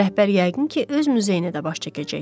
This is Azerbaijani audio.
Rəhbər yəqin ki, öz muzeyinə də baş çəkəcək.